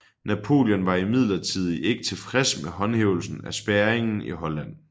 Napoleon var imidlertid ikke tilfreds med håndhævelsen af spærringen i Holland